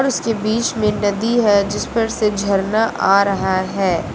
और उसके बीच में नदी है जिस पर से झरना आ रहा है।